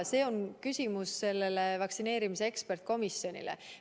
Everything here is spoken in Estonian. See on küsimus vaktsineerimise eksperdikomisjonile.